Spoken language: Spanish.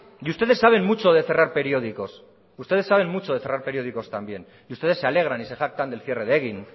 y ustedes saben mucho de cerrar periódicos también y ustedes se alegran y se jactan del cierre de egin